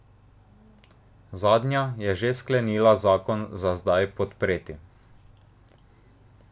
Zadnja je že sklenila zakon za zdaj podpreti.